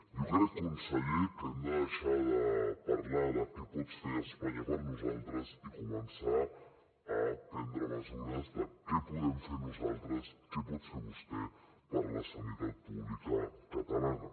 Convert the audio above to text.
jo crec conseller que hem de deixar de parlar de què pot fer espanya per nosaltres i començar a prendre mesures de què podem fer nosaltres què pot fer vostè per la sanitat pública catalana